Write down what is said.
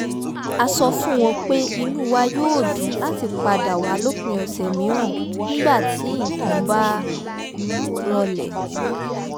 a sọ fún wọn pé inú wa yóò dùn láti padà wá lópin ọ̀sẹ̀ mìíràn nígbà tí nǹkan bá rọlẹ̀